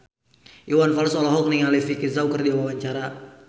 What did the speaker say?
Iwan Fals olohok ningali Vicki Zao keur diwawancara